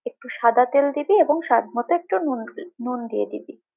একটু সাদাতেল দিবি এবং স্বাদমতো একটু নূন দিয়ে দিবি।